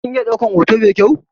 Kin iya ɗaukar hoto mai kyau?